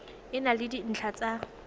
e na le dintlha tsa